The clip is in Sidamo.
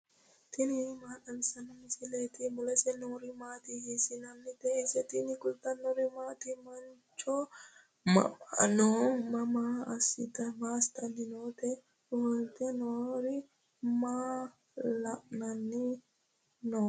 tini maa xawissanno misileeti ? mulese noori maati ? hiissinannite ise ? tini kultannori mattiya? Mancho mama noo ? Maa asittanni nootte? ofolitte noori maa la'anni noo?